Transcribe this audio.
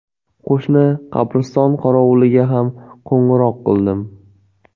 Qo‘shni qabriston qorovuliga ham qo‘ng‘iroq qildim.